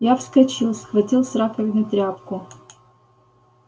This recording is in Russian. я вскочил схватил с раковины тряпку